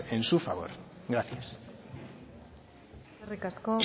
en su favor gracias eskerrik asko